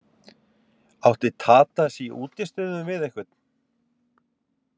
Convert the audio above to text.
Átti Tadas í útistöðum við einhvern?